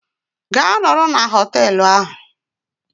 Gaa nọrọ na hoteelu ahụ!